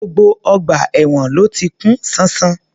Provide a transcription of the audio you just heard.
Gbogbo ọgbà èwọ̀n ló ti kún ṣánṣán